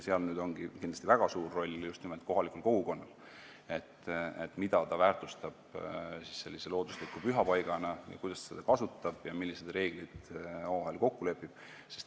Seal ongi väga suur roll just nimelt kohalikul kogukonnal, sellel, mida ta väärtustab loodusliku pühapaigana, kuidas ta seda kasutab ja millised reeglid omavahel kokku lepib.